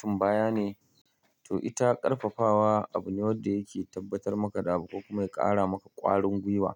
Tun baya ne to ita ƙarfafawa abu ne wanda yake tabbatar maka da abubuwa kuma yake ƙara maka ƙwarin gwiwa